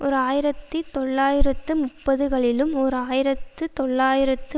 ஓர் ஆயிரத்தி தொள்ளாயிரத்து முப்பதுகளிலும் ஓர் ஆயிரத்தி தொள்ளாயிரத்து